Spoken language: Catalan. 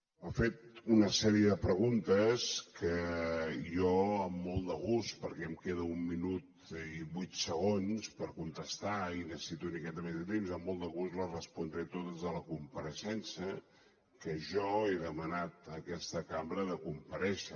m’ha fet una sèrie de preguntes que jo amb molt de gust perquè em queden un minut i vuit segons per contestar i necessito una miqueta més temps les respondré totes a la compareixença que jo he demanat a aquesta cambra de comparèixer